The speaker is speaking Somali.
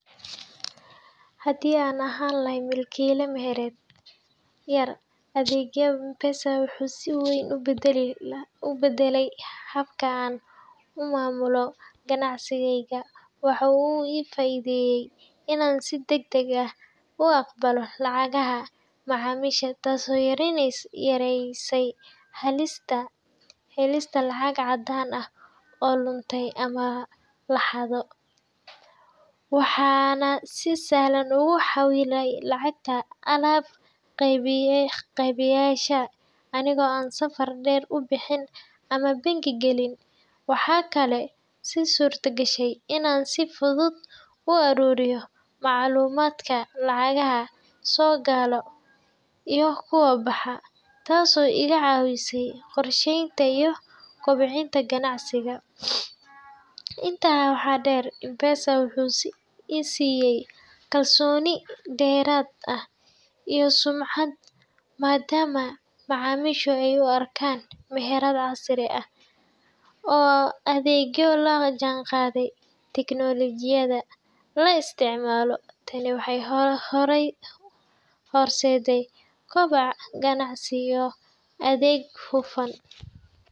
Haddii aan ahay milkiile meherad yar, adeegga M-Pesa wuxuu si weyn u beddelay habka aan u maamulo ganacsigeyga. Waxaa uu ii fududeeyay inaan si degdeg ah u aqbalo lacagaha macaamiisha, taasoo yareysay halista lacag caddaan ah oo lunto ama la xado. Waxaan si sahlan ugu xawilaa lacagta alaab-qeybiyeyaasha, anigoo aan safar dheer u bixin ama bangi galin. Waxaa kaloo ii suurtagashay inaan si fudud u aruuriyo macluumaadka lacagaha soo gala iyo kuwa baxa, taasoo iga caawisay qorsheynta iyo kobcinta ganacsiga. Intaa waxaa dheer, M-Pesa wuxuu i siiyay kalsooni dheeraad ah iyo sumcad, maadaama macaamiishu ay u arkaan meherad casri ah oo adeegyo la jaanqaadaya tignoolajiyada la isticmaalo. Tani waxay horseeday koboc ganacsi iyo adeeg hufan.